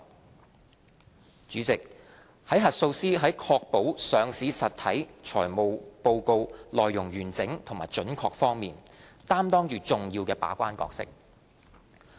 代理主席，核數師在確保上市實體財務報告內容完整及準確方面，擔當着重要的把關角色。